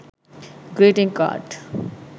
greeting card